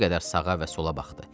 Bir qədər sağa və sola baxdı.